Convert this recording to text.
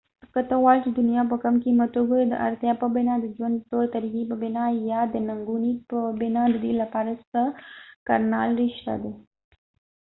که ته غواړی چې دنیا په کم قیمت وګوری د ارتیا په بنا ،د ژوند د طور طریقی په بنا یا د ننګونی په بنا ددې لپاره څه کړنلارې شته دي